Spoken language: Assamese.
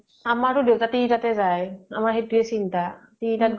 আমাৰো দেউতা তিনি টা তে যায় । আমাৰ সেইতো ৱে চিন্তা । তিনিটাত